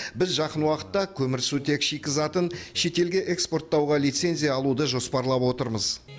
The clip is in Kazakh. біз жуық уақытта көмірсутек шикізатын шетелге экспорттауға лицензия алуды жоспарлап отырмыз